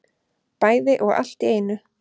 Bæði og allt í einu